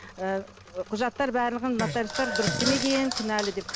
ы құжаттар барлығын нотариустар дұрыс істемеген кінәлі деп